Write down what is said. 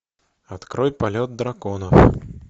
открой полет дракона